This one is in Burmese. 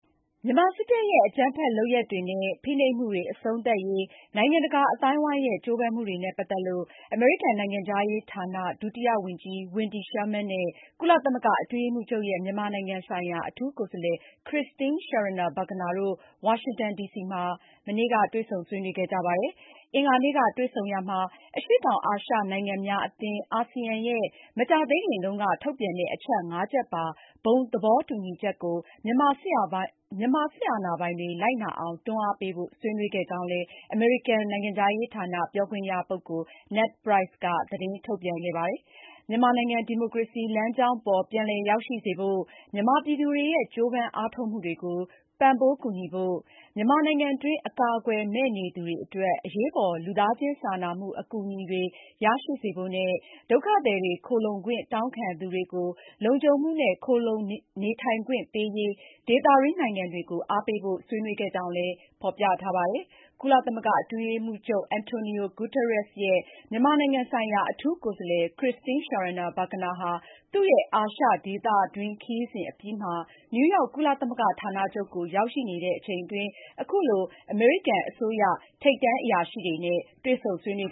မြန်မာစစ်တပ်ရဲ့ အကြမ်းဖက်လုပ်ရပ်တွေနဲ့ ဖိနှိပ်မှုတွေ အဆုံးသတ်ရေး နိုင်ငံတကာ အသိုင်းအဝိုင်းရဲ့ ကြိုးပမ်းမှုတွေနဲ့ပတ်သက်လို့ အမေရိကန်နိုင်ငံခြားရေးဌာန ဒုတိယဝန်ကြီး Wendy Sherman နဲ့ ကုလသမဂ္ဂအတွင်းရေးမှူးချုပ်ရဲ့ မြန်မာနိုင်ငံဆိုင်ရာ အထူးကိုယ်စားလှယ် Christine Schraner Burgener တို့ ဝါရှင်တန်ဒီစီမှာ တွေ့ဆုံဆွေးနွေးခဲ့ပါတယ်။ အင်္ဂါနေ့က တွေ့ဆုံရာမှာ အရှေ့တောင်အာရှ နိုင်ငံများအသင်း (ASEAN) ရဲ့ မကြာသေးခင်တုန်းက ထုတ်ပြန်တဲ့ အချက် ၅ ချက်ပါ ဘုံသဘောတူညီချက်ကို မြန်မာစစ်အာဏာပိုင်တွေ လိုက်နာအောင် တွန်းအားပေးဖို့ ဆွေးနွေးခဲ့ကြောင်းလည်း အမေရိကန်နိုင်ငံခြားရေးဌာန ပြောခွင့်ရပုဂ္ဂိုလ် Ned Price က သတင်းထုတ်ပြန်ခဲ့တာပါ။ မြန်မာနိုင်ငံ ဒီမိုကရေစီလမ်းကြောင်း ပြန်လည်ရောက်ရှိစေဖို့ မြန်မာပြည်သူတွေ ရဲ့ ကြိုးပမ်းအားထုတ်မှုတွေကို ပံ့ပိုးကူညီဖို့၊ မြန်မာနိုင်ငံတွင်း အကာအကွယ်မဲ့နေသူတွေအတွက် အရေးပေါ် လူသားချင်းစာနာမှု အကူအညီတွေ ရရှိစေဖို့နဲ့ ဒုက္ခသည်တွေ၊ ခိုလှုံခွင့်တောင်းခံသူတွေကို လုံခြုံ မှုနဲ့ ခိုလှုံနေထိုင်ခွင့်ပေးရေး ဒေသတွင်းနိုင်ငံတွေကို အားပေးဖို့ ဆွေးနွေးခဲ့ကြောင်းလည်း ဖေါ်ပြထားပါတယ်။ ကုလသမသဂ္ဂအတွင်းရေးမှူးချုပ် အန်တိုနီယိုဂူတာယပ်စ်ရဲ့ မြန်မာနိုင်ငံဆိုင်ရာ အထူးကိုယ်စားလှယ် Christine Schraner Burgener ဟာ သူရဲ့ အာရှဒေသတွင်းခရီးစဉ်အပြီးမှာ နယူးရောက်ကုလသမဂ္ဂဌာနချုပ်ကို ရောက်ရှိနေတဲ့ အချိန်အတွင်းအခုလို အမေရိကန်အစိုးရ ထိပ်တန်းအရာရှိတွေနဲ့ တွေ့ဆုံဆွေးနွေး